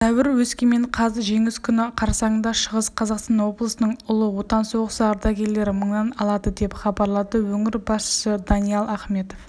сәуір өскемен қаз жеңіс күні қарсаңында шығыс қазақстан облысының ұлы отан соғысы ардагерлері мыңнан алады деп хабарлады өңір басшысы даниял ахметов